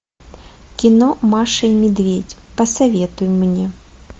кино маша и медведь посоветуй мне